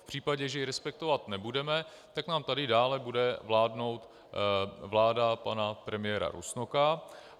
V případě, že ji respektovat nebudeme, tak nám tady dále bude vládnout vláda pana premiéra Rusnoka.